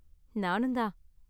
நானும் தான்.